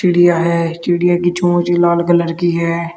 चिड़िया है चिड़िया की चोंच लाल कलर की है।